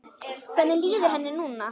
Hvernig líður henni núna?